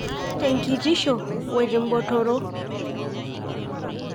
Tekitisho wotembotoro